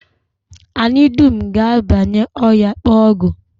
Anyị dum ga-abanye ọhịa, kpaa ọgwụ